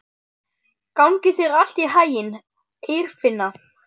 Gangi þér allt í haginn, Eirfinna.